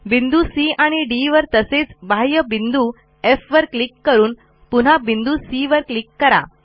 बिंदू सी आणि डी वर तसेच बाह्य बिंदू एफ वर क्लिक करून पुन्हा बिंदू सी वर क्लिक करा